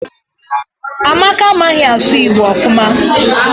Amaka amaghi asu igbo ofuma